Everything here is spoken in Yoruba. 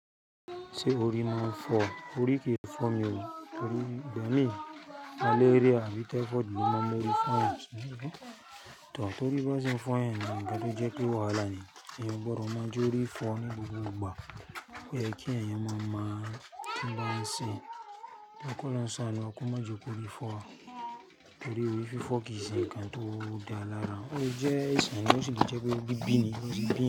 Tí orí ma fọ́, orí kì í fọ́ mi o, torí bí o ní malaria àbí typhoid ló ma mọ orí fọ́ èèyàn? Tan torí bá sì ń fọ́ ẹni ní ǹkan tó jẹ́ pé wàhálà ni, èyàn oo gbọdọ̀ ma jẹ́ orí fọ́ ní gbogbo ìgbà. Ó yẹ kí èyàn ma mọ ǹkan ń ṣe. Lokọ kí ọlọ́run sanu, kọ ma jẹ́ kó orí fọ́ wa, torí orí fí fọ́ kì í ṣe ǹkan tó dá lára, ó jẹ́ iṣẹ́ ni ó sì jẹ́ pé bí bíni, ó sì bí inú.